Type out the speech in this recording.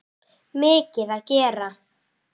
Mikið að gera?